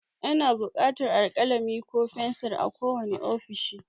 Ana buƙatar alkalami ko fensir a kowane ofishi.